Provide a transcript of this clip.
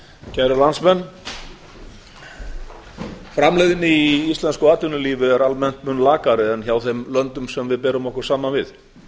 kæru landsmenn framleiðni í íslensku atvinnulífi er almennt mun lakari en hjá þeim löndum sem við berum okkur saman við